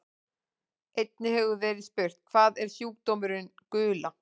Einnig hefur verið spurt: Hvað er sjúkdómurinn gula?